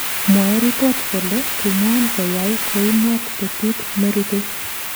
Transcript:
Mwaei ripot kole kimwan koyai kounot petut nerupei